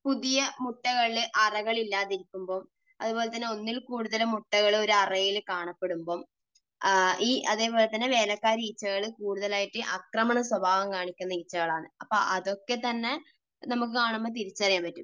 പുതിയ മുട്ടകളുടെ അറകൾ ഇല്ലാതെ ഇരിക്കുമ്പോൾ, അതുപോലെതന്നെ ഒന്നിൽകൂടുതൽ മുട്ടകൾ ഒരു അറയിൽ കാണപ്പെടുമ്പോൾ, അതുപോലെതന്നെ വേലക്കാരി ഈച്ചകൾ കൂടുതലായിട്ട് ആക്രമണ സ്വഭാവം കാണിക്കുന്ന ഈച്ചകൾ ആണ്. അപ്പോൾ അതൊക്കെ തന്നെ നമുക്ക് കാണുമ്പോൾ തിരിച്ചറിയാൻ പറ്റും.